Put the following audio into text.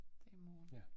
Det i morgen